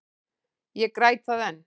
Ég græt það enn.